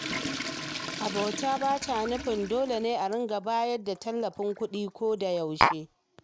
Abota ba ta nufin dole ne a riƙa bayar da tallafin kuɗi koyaushe ba.